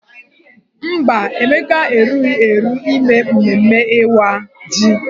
Mba, Emeka erughi eru ime mmemme Ịwa ji.